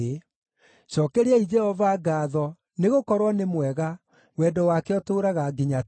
Cookeriai Jehova ngaatho, nĩgũkorwo nĩ mwega; wendo wake ũtũũraga nginya tene.